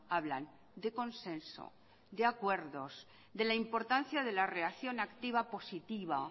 hablan de consenso de acuerdos de la importancia de la relacción activa positiva